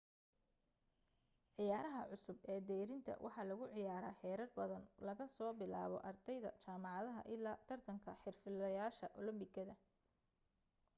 ciyaaraha cusub ee deyrinta waxa lagu ciyaaraa heerar badan laga soo bilaabo ardayda jaamacadaha illaa tartanka xirfadlayaasha olambikada